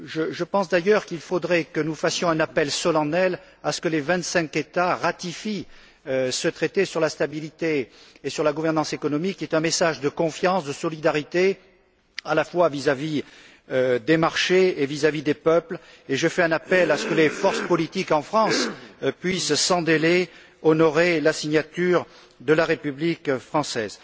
Je pense d'ailleurs qu'il faudrait que nous fassions un appel solennel à ce que les vingt cinq États ratifient ce traité sur la stabilité et sur la gouvernance économique, qui est un message de confiance, de solidarité, à la fois vis à vis des marchés et vis à vis des peuples, et je fais un appel à ce que les forces politiques en France puissent sans délai honorer la signature de la République française.